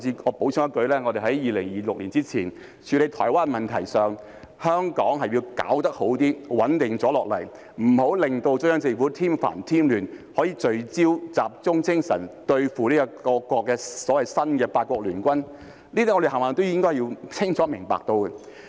我補充一句，我們在2026年之前對台灣問題的處理，香港是要做得好一些，穩定下來，不要為中央政府添煩添亂，能夠聚焦和集中精神對付所謂新的八國聯軍，這些我們全部也是應該清楚明白的。